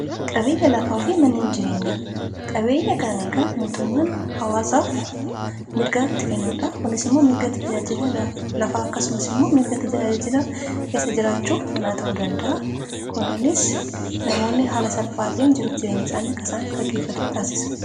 Qabeenya lafaa fi manneen jireenyaa. qabeenya kaan egaa mootummaan hawaasaaf mirgaatti kennuudha.